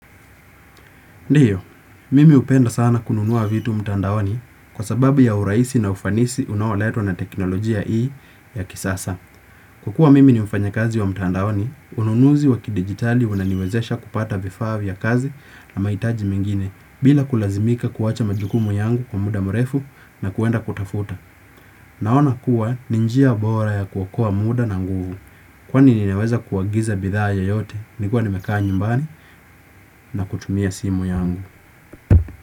Ndiyo, mimi hupenda sana kununua vitu mtandaoni kwa sababu ya urahisi na ufanisi unaoletwa na teknolojia hii ya kisasa. Kukua mimi ni mfanya kazi wa mtandaoni, ununuzi wakidigitali unaniwezesha kupata vifaa vya kazi na mahitaji mengine bila kulazimika kuwacha majukumu yangu kwa muda mrefu na kuenda kutafuta. Naona kuwa ni njia bora ya kuokoa muda na nguvu kwani ninaweza kuagiza bidhaa yoyote nikiwa nimekaa nyumbani na kutumia simu yangu.